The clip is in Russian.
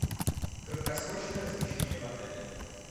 краткосрочное размещение в отеле